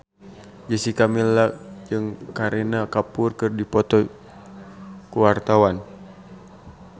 Jessica Milla jeung Kareena Kapoor keur dipoto ku wartawan